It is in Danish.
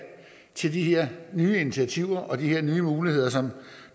til de her nye initiativer og de her nye muligheder som